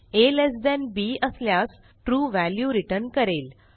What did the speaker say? आ less than B असल्यास true value return करेल